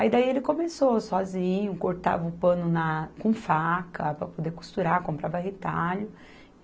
Aí daí ele começou sozinho, cortava o pano na, com faca para poder costurar, comprava retalho.